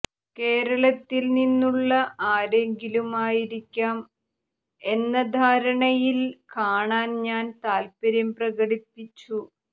കേരളത്തിൽ നിന്നുള്ള ആരെങ്കിലും ആയിരിക്കാം എന്ന ധാരണയിൽ കാണാൻ ഞാൻ താൽപര്യം പ്രകടിപ്പിച്ചു